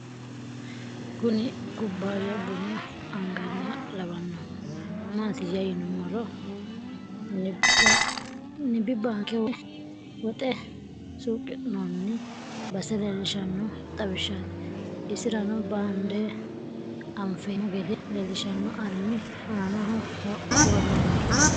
Kunni kubaya bunna angannih lawanohu mattiya yinumora nibi banke woy woxe suqinon base lelishano xawishati Esirano bande anfemo gede lelishano arm anaho woronni